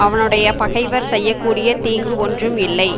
அவனுடைய பகைவர் செய்ய கூடிய தீங்கு ஒன்றும் இல்லை